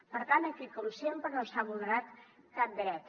per tant aquí com sempre no s’ha vulnerat cap dret